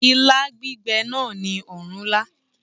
Ilá gbígbẹ̀ náà ni ọ̀rúnlá